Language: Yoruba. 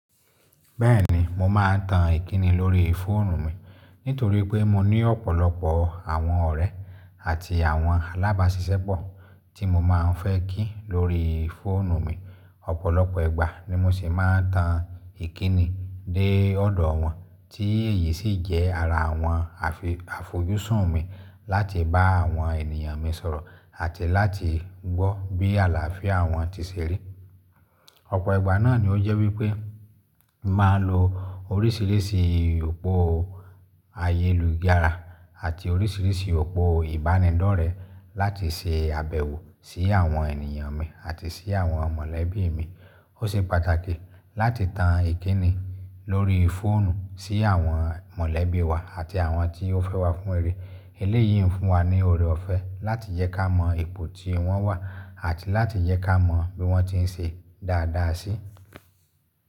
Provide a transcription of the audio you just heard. Bẹ́ẹ̀ni mo máa ń tan Ìkíni lórí fóònù mi nítorí pé mo ní ọ̀pọ̀lọpọ̀ àwọn ọ̀rẹ́ àti àwọn alábàásisẹ́pọ̀ tí mo máa ń fẹ́ kí lórí fóònù mi. Ọ̀pọ̀lọpọ̀ ìgbà ni mo sì máa ń tan Ìkíni dé ọ̀dọ̀ wọn tí èyí sì jẹ́ ara àwọn àfojúsùn mi láti bá àwọn ènìyàn mi sọ̀rọ̀ àti láti gbọ́ bí àlàáfíà wọn ti ṣe rí. Ọ̀pọ̀ ìgbà náà ni ó jẹ́ wípé màá lo oríṣìíríṣìí òpó ayélujàra àti oríṣìíríṣìí òpó ìbánidọ́rẹ́ láti se àbẹ̀wọ̀ sí àwọn ènìyàn mi àti sí àwọn mọ̀lẹ́bí mi. Ó ṣe pàtàkì láti tan Ìkíni lórí fóònù sí àwọn mọ̀lẹ́bí wa àti àwọn tí ó fẹ́ wa fún rere. Eléyìí ń fún wa ní ọ̀rẹ́ ọ̀fẹ́ láti jẹ́ ká mọ̀ ipò tí wọ́n wà àti láti jẹ́ ká mọ̀ bí wọ́n ti ń ṣe dáadáa sí.